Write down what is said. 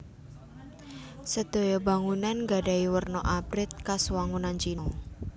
Sedoyo bangunan gadhahi werna abrit kas wangunan China